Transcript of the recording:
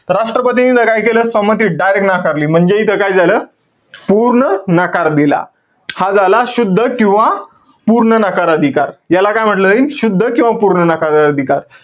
तर राष्ट्रपतीने इथं काय केलं? संमती direct नाकारली. म्हणजे, इथं काय झालं? पूर्ण नकार दिला. हा झाला शुद्ध किंवा पूर्ण नकार अधिकार. याला काय म्हंटल जाईल? शुद्ध किंवा पूर्ण नकार अधिकार.